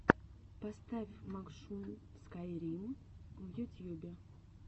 поставь макшун скайрим в ютьюбе